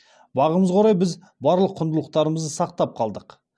бағымызға орай біз барлық құндылықтарымызды сақтап қалдық